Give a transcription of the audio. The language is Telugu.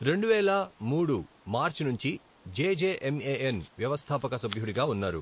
రెండు వేల మూడు మార్చి నుంచి J J M A N వ్యవస్థాపక సభ్యుడిగా ఉన్నారు.